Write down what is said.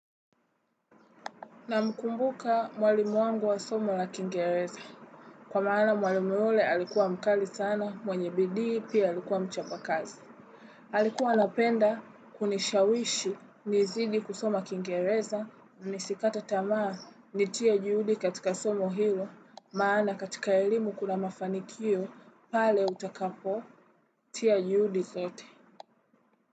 Na mkumbuka mwalimu wangu wa somo la kingereza kwa maana mwalimu yule halikuwa mkali sana mwenye bidii pia halikuwa mchapa kazi. Halikuwa anapenda kunishawishi nizidi kusoma kingereza nisikata tamaa nitie juhudi katika somo hilo maana katika elimu kuna mafanikio pale utakapo tia juhudi zote.